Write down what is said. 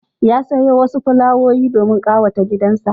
Ya sayo wasu fulawowi domin ƙawata gidansa.